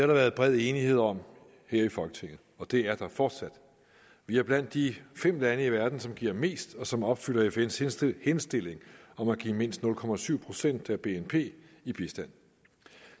der været bred enighed om her i folketinget og det er der fortsat vi er blandt de fem lande i verden som giver mest og som opfylder fns indstilling indstilling om at give mindst nul procent procent af bnp i bistand